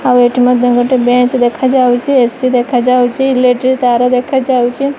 ଆଉ ଏଠି ମଧ୍ୟ ଗୋଟେ ବେଞ୍ଚ ଦେଖାଯାଉଛି ଏସି ଦେଖାଯାଉଛି ଇଲେକ୍ଟ୍ରି ତାର ଦେଖାଯାଉଛି।